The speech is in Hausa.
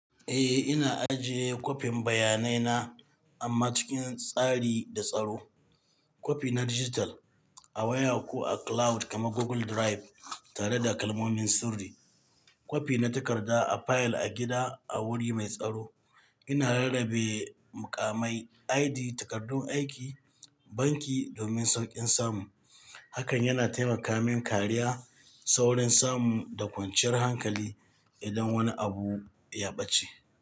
Eh, ina ajiye kwafin bayanai na amma cikin tsari da tsaro. Kwafi na dijital a waya ko a cloud kamar Google Drive tare da kalmomin sirri. Kwafi na takarda a fayil a gida a wuri mai tsaro. Ina rarrabe mukamai, ID, takardun aiki, banki domin sauƙin samu. Hakan yana taimaka min kariya, saurin samu da kwanciyar hankali idan wani abu ya ɓace.